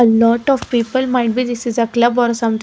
A lot of people might be this is a club or something.